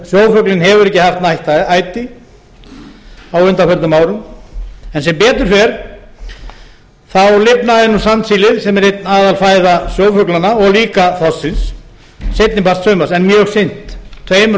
kríustofninum sjófuglinn hefur ekki haft nægt æti á undanförnum árum en sem betur fer lifnaði sandsílið sem er ein aðalfæða sjófuglanna og líka þorsksins seinni part sumars en mjög seint tveimur